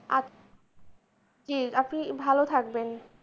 জী আপনি ভালো থাকবেন।